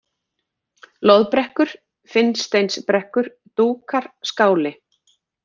Loðbrekkur, Finnsteinsbrekkur, Dúkar, Skáli